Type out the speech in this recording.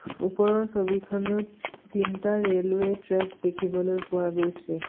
ওপৰৰ ছবিখনত তিনিটা ৰেলৱে ট্ৰেক দেখিবলৈ পোৱা গৈছে।